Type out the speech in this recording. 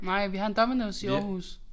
Nej vi har en Dominos i Aarhus